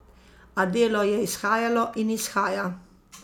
A Delo je izhajalo in izhaja.